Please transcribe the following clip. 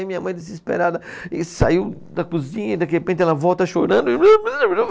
Aí minha mãe desesperada e saiu da cozinha e de repente ela volta chorando. (som de choro)